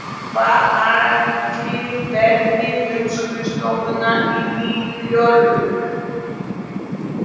Hvað ætli verði um skrifstofuna í Nýju Jórvík?